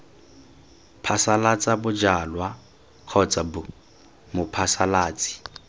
phasalatsa bojalwa kgotsa b mophasalatsi